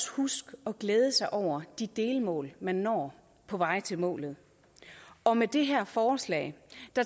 huske at glæde sig over de delmål man når på vej til målet og med det her forslag